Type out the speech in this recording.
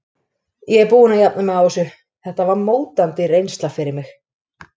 Ég er búinn að jafna mig á þessu, þetta var mótandi reynsla fyrir mig.